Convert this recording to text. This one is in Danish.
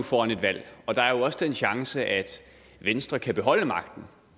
foran et valg og der er jo også den chance at venstre kan beholde magten